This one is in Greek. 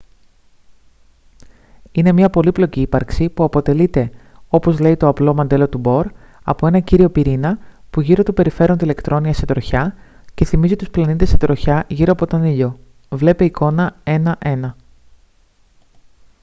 είναι μια πολύπλοκη ύπαρξη που αποτελείται όπως λέει το απλό μοντέλο του μπορ από ένα κύριο πυρήνα που γύρω του περιφέρονται ηλεκτρόνια σε τροχιά και θυμίζει τους πλανήτες σε τροχιά γύρω από τον ήλιο βλ εικόνα 1.1